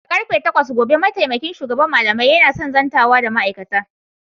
Da karfe takwas gobe mataimakin shugaban malamai yana son zantawa da ma'aikata.